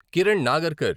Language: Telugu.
కిరణ్ నాగర్కర్